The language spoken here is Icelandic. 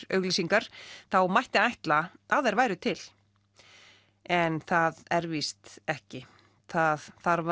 auglýsingar þá mætti ætla að þær væru til en það er víst ekki það þarf